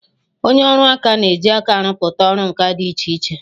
Onye ọrụ aka na-eji aka arụpụta ọrụ nka dị iche iche.